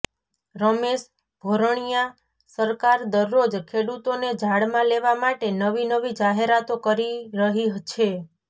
રમેશ ભોરણિયાઃ સરકાર દરરોજ ખેડૂતોને ઝાળમાં લેવા માટે નવી નવી જાહેરાતો કરી રહી છે